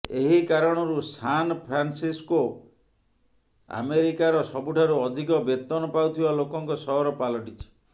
ଏହି କାରଣରୁ San Francisco ଆମେରିକାର ସବୁଠାରୁ ଅଧିକ ବେତନ ପାଉଥିବା ଲୋକଙ୍କ ସହର ପାଲଟିଛି